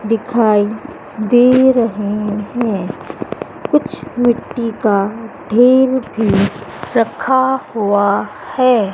दिखाई दे रहे हैं कुछ मिट्टी का ढेर भी रखा हुआ है।